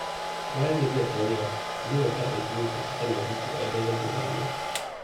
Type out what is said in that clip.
Bayan gajiya ta yi yawa, Halima ta ɗauki lokaci tana jin kiɗa don rage damuwa.